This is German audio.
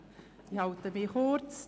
Ich halte mich kurz.